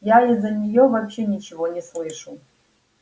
я из-за нее вообще ничего не слышу